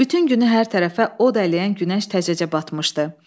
Bütün günü hər tərəfə od ələyən günəş təzəcə batmışdı.